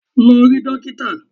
Lọ rí dókítà!